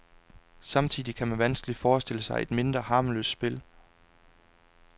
Samtidig kan man vanskeligt forestille sig et mindre harmløst spil.